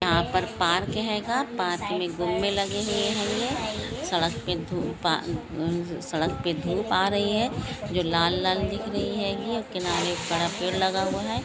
यहा पर पार्क हेगा पार्क मे जुले लगे हुवे हेंगे सड़क पे धूप आ सड़क पे धूप आ रही है जो लाल-लाल दिख रही हेंगी किनारे पर पेड़ लगा हुवा है।